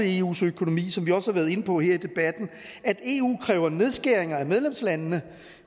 eus økonomi som vi også har været inde på her i debatten at eu kræver nedskæringer af medlemslandene